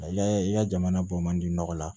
Ya i ya jamana bɔ man di nɔgɔ la